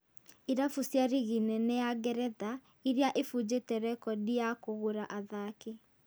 irabu cia rigi nene ya Ngeretha iria ibunjĩte rekondi ya kũgũra athaki